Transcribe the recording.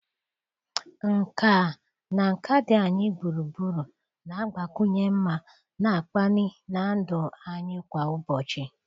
Nkà na nka dị anyị gburugburu, na-agbakwunye mma na mkpali na ndụ anyị kwa ụbọchị